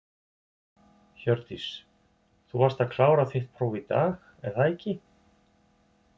Hjördís: Þú varst að klára þitt próf í dag, er það ekki?